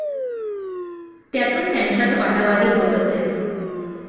त्यातून त्यांच्यात वादावादी होत असे.